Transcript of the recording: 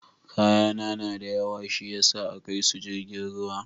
kayana na da yawa shiyasa akaisu jirgin ruwa.